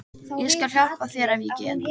Ég skal hjálpa þér ef ég get.